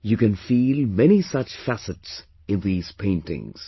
You can feel many such facets in these paintings